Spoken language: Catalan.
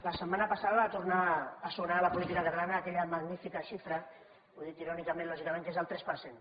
la setmana passada va tornar a sonar a la política catalana aquella magnífica xifra ho dic irònicament lògicament que és el tres per cent